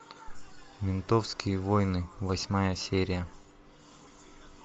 ментовские войны восьмая серия